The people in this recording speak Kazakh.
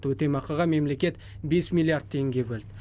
өтемақыға мемлекет бес миллиард теңге бөлді